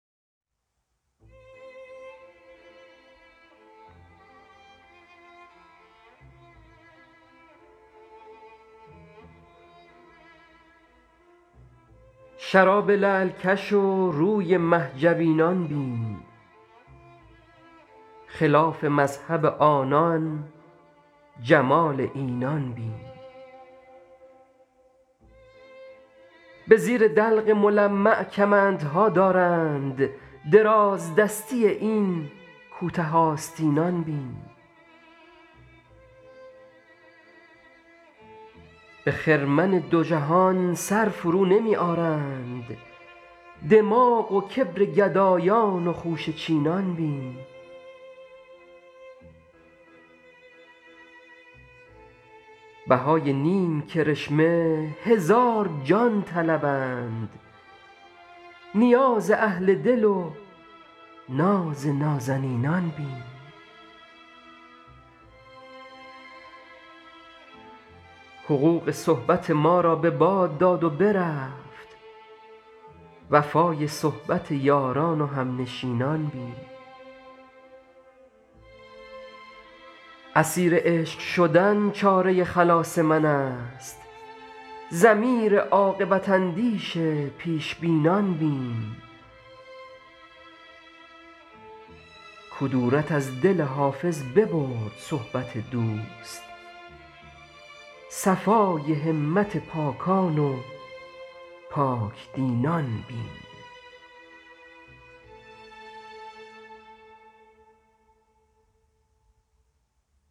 شراب لعل کش و روی مه جبینان بین خلاف مذهب آنان جمال اینان بین به زیر دلق ملمع کمندها دارند درازدستی این کوته آستینان بین به خرمن دو جهان سر فرونمی آرند دماغ و کبر گدایان و خوشه چینان بین بهای نیم کرشمه هزار جان طلبند نیاز اهل دل و ناز نازنینان بین حقوق صحبت ما را به باد داد و برفت وفای صحبت یاران و همنشینان بین اسیر عشق شدن چاره خلاص من است ضمیر عاقبت اندیش پیش بینان بین کدورت از دل حافظ ببرد صحبت دوست صفای همت پاکان و پاک دینان بین